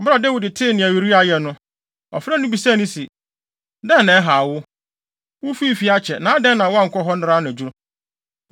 Bere a Dawid tee nea Uria ayɛ no, ɔfrɛɛ no bisaa no se, “Dɛn na ɛhaw wo? Wufii fie akyɛ na adɛn na woankɔ hɔ nnɛra anadwo?”